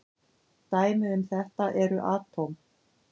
Dæmi um þetta eru atóm.